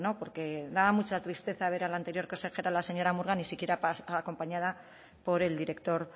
porque daba mucha tristeza ver a la anterior consejera la señora murga ni siquiera acompañada por el director